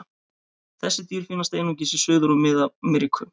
Þessi dýr finnast einungis í Suður- og Mið-Ameríku.